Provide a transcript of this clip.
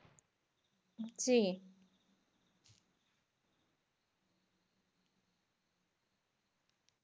জি